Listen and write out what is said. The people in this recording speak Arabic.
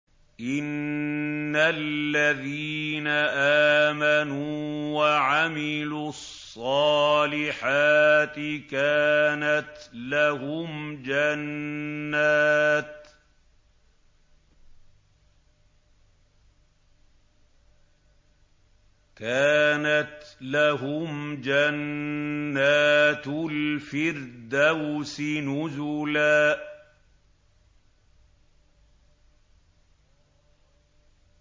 إِنَّ الَّذِينَ آمَنُوا وَعَمِلُوا الصَّالِحَاتِ كَانَتْ لَهُمْ جَنَّاتُ الْفِرْدَوْسِ نُزُلًا